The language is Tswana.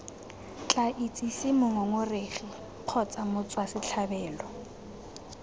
tla itsise mongongoregi kgotsa motswasetlhabelo